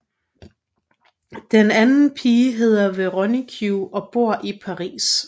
Den anden pige hedder Veronique og bor i Paris